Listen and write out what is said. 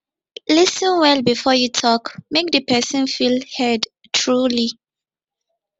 lis ten well before you talk make the person feel heard truly